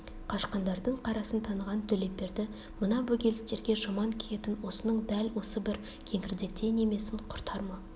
қашқандардың қарасын таныған төлепберді мына бөгелістерге жаман күйетін осының дәл осы бір кеңірдектей немесін құртар ма